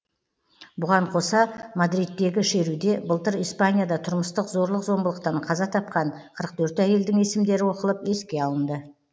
бұған қоса мадридтегі шеруде былтыр испанияда тұрмыстық зорлық зомбылықтан қаза тапқан қырық төрт әйелдің есімдері оқылып еске алынды